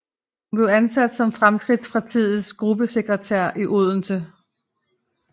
Hun blev ansat som Fremskrittspartiets gruppesekretær i Oslo